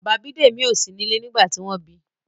Bàbá Bidemi o sí nílé nígbà tí wón bi.